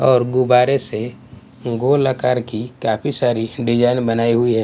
और गुब्बारे से गोल आकार की काफी सारी डिजाइन बनाई हुई है।